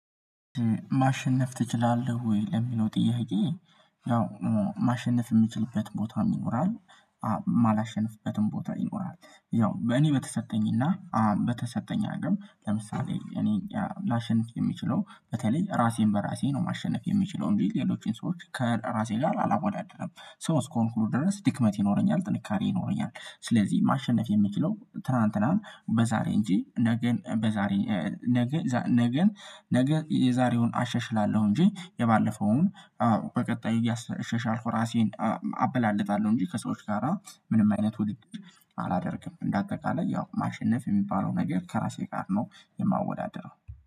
ማሸነፍ ትችላለህ ወይ? ለሚለው ጥያቄ ያው ማሸነፍ የምችልበት ቦታ ይኖራል የማላሸንፍበትም ቦታ ይኖራል። ያው በእኔ በተሰጠኝና በተሰጠኝ አቀም ለምሳሌ እኔ ላሸንፍ የሚችለው፤ በተለይ ራሴን በራሴ ነው ማሸነፍ የሚችለው። እንዴ ሌሎችን ሰዎች ከራሴ ጋር አላወዳድርም ሰው እስከሆንኩኝ ድረስ ድክመት ይኖረኛል፤ ጥንካሬ ይኖረኛል፤ ስለዚህ ማሸነፍ የምችለው ትላንትንን በዛሬ እንጂ ነገን በዛሬ ነገ ነገ የዛሬውን አሸሽላለሁ እንጂ፤ የባለፈውን በቀጣይ እያሸሻልኩ ራሴን አበላልጣለሁ እንጂ ከሰዎች ጋራ ምንም አይነት ውድድር አላደርግም። እንደ አጠቃላይ ያው ማሸነፍ የሚባለው ነገር ከራሴ ጋር ነው የማወዳደረው።